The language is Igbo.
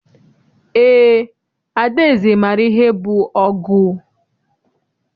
Eé, Adaeze maara ihe bụ ọgụ.